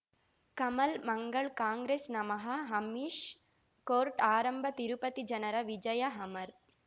Kamal Mangal Congress ನಮಃ Amish court ಆರಂಭ ತಿರುಪತಿ ಜನರ ವಿಜಯ ಅಮರ್